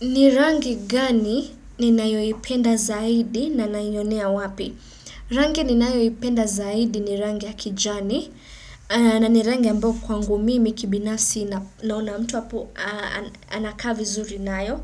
Ni rangi gani ninayoipenda zaidi nanaionea wapi? Rangi ninayoipenda zaidi ni rangi ya kijani na ni rangi ambao kwangu mimi kibinafsi naona mtu hapo anakaa vizuri nayo.